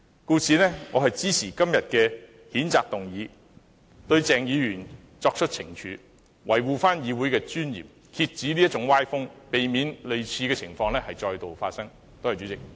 故此，我支持今天的譴責議案，對鄭議員作出懲處，維護議會的尊嚴，遏止這種歪風，避免類似情況再度發生。